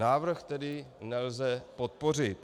Návrh tedy nelze podpořit.